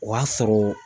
O y'a sɔrɔ